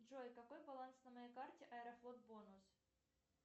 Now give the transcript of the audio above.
джой какой баланс на моей карте аэрофлот бонус